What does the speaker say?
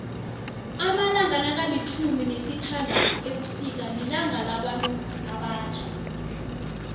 amalanga nakalitjhumi nesithanduthu ebusika lilanga labantu abatjha